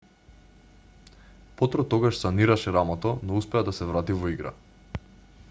потро тогаш санираше рамото но успеа да се врати во игра